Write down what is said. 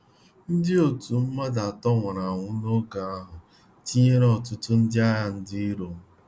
Ndị otu m mmadụ atọ nwụrụ anwụ na-ogu ahụ, tinyere ọtụtụ ndị agha ndị iro.